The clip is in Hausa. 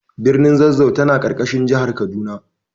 Birnin Zazzau tana ƙarƙashin jihar Kaduna.